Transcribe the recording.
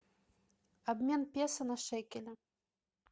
обмен песо на шекели